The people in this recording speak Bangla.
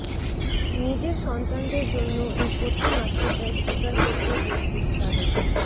নিজের সন্তানদের জন্য এই কঠিন আত্মত্যাগ স্বীকার করতেও প্রস্তুত শাহরুখ